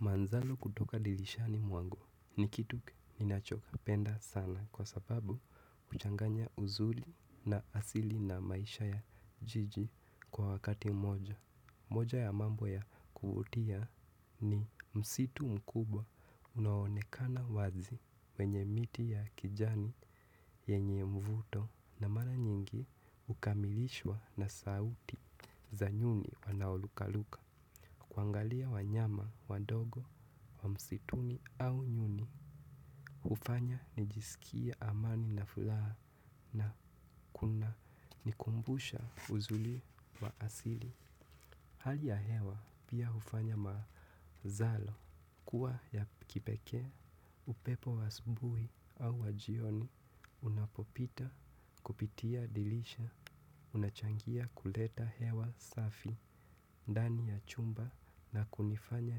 Manzalo kutoka dirishani mwangu ni kitu ninachopenda sana kwa sababu huchanganya uzuri na asili na maisha ya jiji kwa wakati moja. Moja ya mambo ya kuvutia ni msitu mkubwa unao onekana wazi menye miti ya kijani yenye mvuto na mara nyingi ukamilishwa na sauti za nyuni wanaoruka ruka. Kuangalia wanyama, wadogo, wa msituni au nyuni hufanya nijisikie amani na furaha na kunanikumbusha uzuri wa asili hali ya hewa pia ufanya mazalo kuwa ya kipekee, upepo wa asubuhi au wa jioni. Unapopita, kupitia dirisha unachangia kuleta hewa safi, ndani ya chumba na kunifanya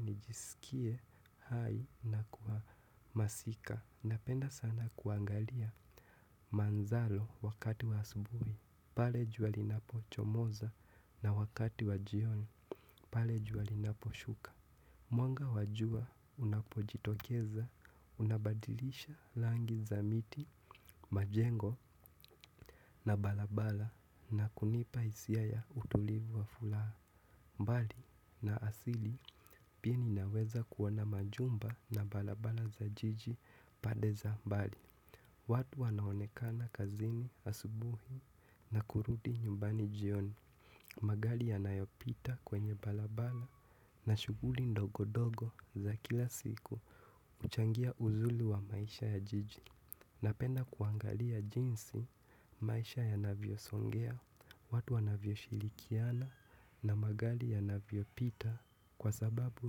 nijisikie hai na kwa masika, napenda sana kuangalia manzalo wakati wa asubuhi pale jua linapo chomoza na wakati wa jioni pale jua linaposhuka mwanga wa jua unapojitokeza unabadilisha rangi za miti, majengo na barabara na kunipa hisia ya utulivu wa furaha mbali na asili pia ninaweza kuona majumba na barabara za jiji pande za mbali watu wanaonekana kazini asubuhi na kurudi nyumbani jioni magari yanayopita kwenye barabara na shuguli ndogo ndogo za kila siku huchangia uzuri wa maisha ya jiji napenda kuangalia jinsi maisha yanavyo songea, watu wanavyoshirikiana na magari yanavyopita kwa sababu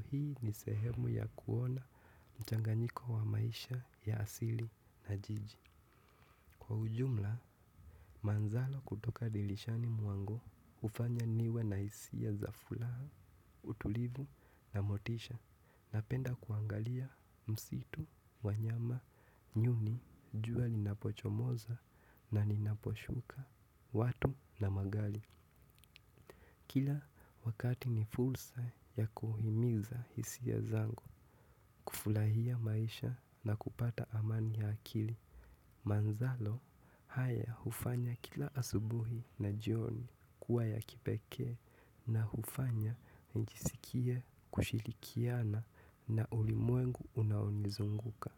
hii ni sehemu ya kuona mchanganyiko wa maisha ya asili na jiji. Kwa ujumla manzalo kutoka dirishani mwangu hufanya niwe na hisia za furaha utulivu na motisha, na penda kuangalia msitu, wanyama, nyuni, jua linapochomoza na ninaposhuka, watu na magari. Kila wakati ni fursa ya kuhimiza hisia zangu kufurahia maisha na kupata amani ya akili. Manzalo haya hufanya kila asubuhi na jioni kuwa ya kipekee na hufanya nijisikie kushirikiana na ulimwengu unaonizunguka.